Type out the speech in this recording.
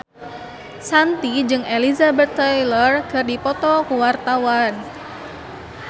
Shanti jeung Elizabeth Taylor keur dipoto ku wartawan